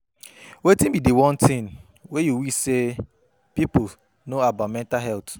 Wetin be di one thing you wish say people know about mental health?